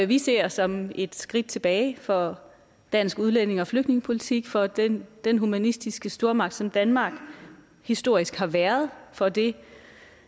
vi ser som et skridt tilbage for dansk udlændinge og flygtningepolitik for den den humanistiske stormagt som danmark historisk har været for det